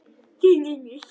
Þín, Unnur.